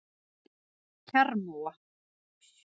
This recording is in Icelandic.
Kjarrmóa